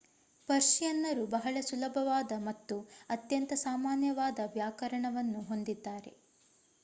ಪರ್ಶಿಯನ್ನರು ಬಹಳ ಸುಲಭವಾದ ಮತ್ತು ಅತ್ಯಂತ ಸಾಮಾನ್ಯವಾದ ವ್ಯಾಕರಣವನ್ನು ಹೊಂದಿದ್ದಾರೆ